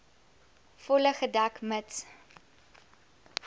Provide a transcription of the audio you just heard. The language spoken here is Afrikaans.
volle gedek mits